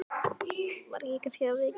Var ég kannski að vekja þig?